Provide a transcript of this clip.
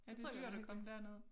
Ja det dyrt at komme derned